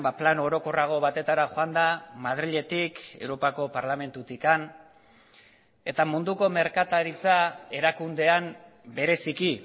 plano orokorrago batetara joanda madriletik europako parlamentutik eta munduko merkataritza erakundean bereziki